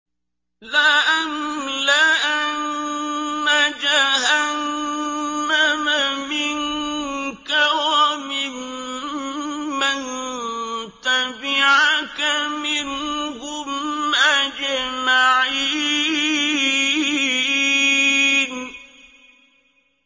لَأَمْلَأَنَّ جَهَنَّمَ مِنكَ وَمِمَّن تَبِعَكَ مِنْهُمْ أَجْمَعِينَ